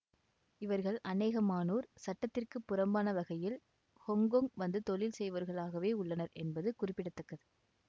இவர்கள் அநேகமானோர் சட்டத்திற்குப் புறம்பான வகையில் ஹொங்கொங் வந்து தொழில் செய்வோர்களாகவே உள்ளனர் என்பது குறிப்பிட தக்கது